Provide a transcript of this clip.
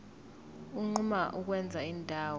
unquma ukwenza indawo